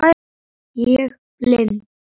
Ég blind